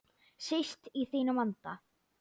Síst í þínum anda.